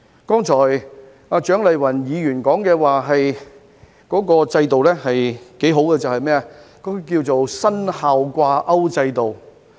剛才蔣麗芸議員說的制度是不錯的，稱為"薪效掛鈎制度"。